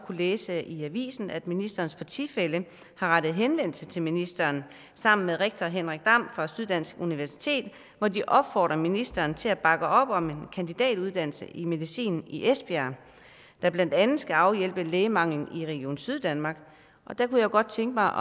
læse i avisen at ministerens partifælle har rettet henvendelse til ministeren sammen med rektor henrik dam fra syddansk universitet hvor de opfordrer ministeren til at bakke op om en kandidatuddannelse i medicin i esbjerg der blandt andet skal afhjælpe lægemanglen i region syddanmark og der kunne jeg godt tænke mig